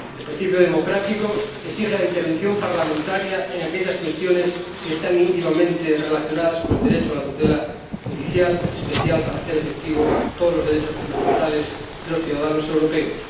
El principio democrático exige la intervención parlamentaria en aquellas cuestiones que están íntimamente relacionadas con el derecho a la tutela judicial, especial para hacer efectivos todos los derechos fundamentales de los ciudadanos europeos.